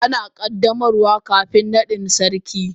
Ana yin qaddamarwa kafin naɗin sarki.